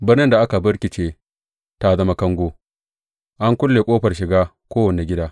Birnin da aka birkice ta zama kango; an kulle ƙofar shiga kowane gida.